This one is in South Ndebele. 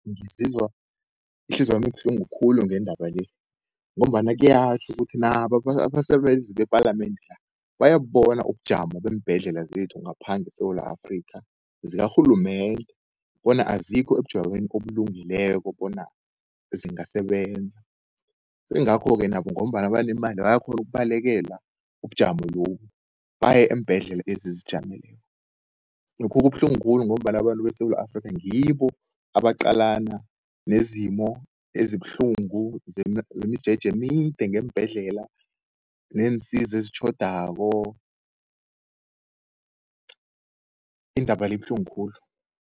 Ngizizwa ihliziyo yami ibuhlungu khulu ngendaba le, ngombana kuyatjho ukuthi nabo abasebenzi bepalamende la bayabubona ubujamo beembhedlela zethu ngapha ngeSewula Afrika, zikarhulumende bona azikho ebujameni obulungileko bona zingasebenza. Sengakho-ke nabo ngombana banemali, bayakhona ukubalekela ubujamo lobu baye eembhedlela ezizijameleko. Lokhu kubuhlungu khulu, ngombana abantu besewula Afrika, ngibo abaqalana nezimo ezibuhlungu zemijeje emide ngeembhedlela neensiza ezitjhodako. Indaba le ibuhlungu khulu.